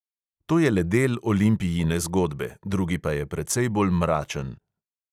To je le del olimpijine zgodbe, drugi pa je precej bolj mračen.